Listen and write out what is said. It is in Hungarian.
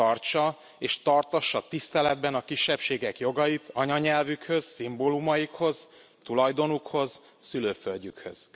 Tartsa és tartassa tiszteletben a kisebbségek jogait anyanyelvükhöz, szimbólumaikhoz, tulajdonukhoz, szülőföldjükhöz.